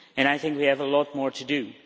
I think we have a lot more to do.